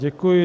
Děkuji.